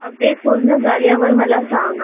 update पूर्ण झाल्यावर मला सांग